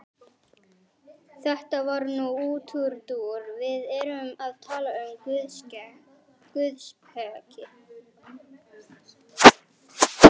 Þetta var nú útúrdúr, við erum að tala um guðspeki.